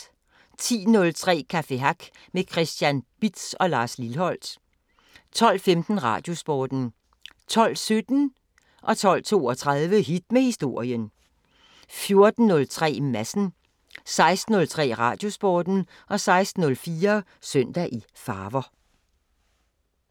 10:03: Café Hack med Christian Bitz og Lars Lilholt 12:15: Radiosporten 12:17: Hit med Historien 12:32: Hit med Historien 14:03: Madsen 16:03: Radiosporten 16:04: Søndag i farver